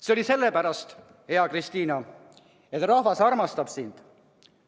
See oli sellepärast, hea Kristina, et rahvas armastab sind.